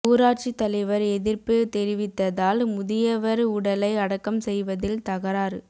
ஊராட்சி தலைவர் எதிர்ப்பு தெரிவித்ததால் முதியவர் உடலை அடக்கம் செய்வதில் தகராறு